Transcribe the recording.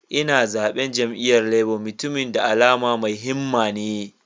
Ina zaben jam'iyyar Labour, mutumin da alama mai himma ne.